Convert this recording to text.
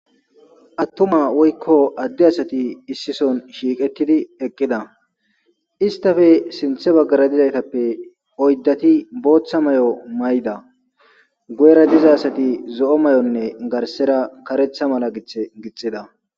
attuma woykko adde asati issison shiiqettidi eqqida istafe sinthe baggara dizaytappe oyddati booththa may7o mayda gu7era diza asati zo7o may7onne garsera karetha mala gith gitxida